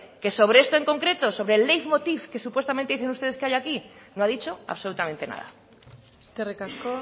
que sobre esto en concreto sobre el leitmotiv que supuestamente dicen ustedes que hay aquí no ha dicho absolutamente nada eskerrik asko